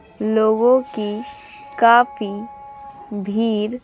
लोगों की काफी भीड़--